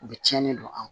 U bɛ tiɲɛni don an kan